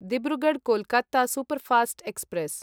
Dibrugarh Kolkata superfast express